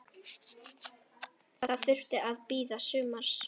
Það þurfti að bíða sumars.